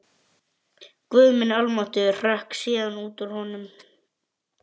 Guð minn almáttugur hrökk síðan út úr honum.